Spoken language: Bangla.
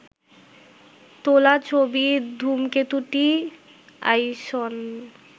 তোলা ছবির ধূমকেতুটিই আইসন